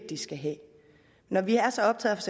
de skal have når vi er så optaget